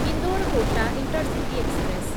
Indore Kota intercity express